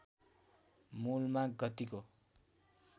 मूलमा गतिको